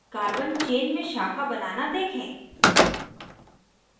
carbon chain में शाखा बनना देखें